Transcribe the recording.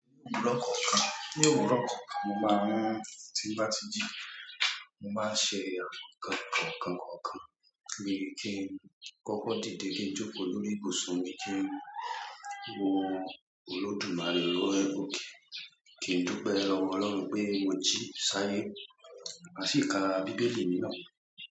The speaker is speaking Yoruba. Ní òwúrọ̀ kọ̀ọ̀kan, ní òwúrọ̀ kọ̀ọ̀kan mo máa n tí n bá ti ji, mo máa n ṣe àwọn nǹkan kọ̀ọ̀kan kọ̀ọ̀kan bí kí n kọ́kọ́ dìde kí n jókòó lórí ìbùsùn mi kí ń wo olódùmarè lọ́wọ́. Kí n dúpẹ́ lọ́wọ́ Ọlọ́run pé mo jí sáyé, ma sì ka Bíbélì mi náà.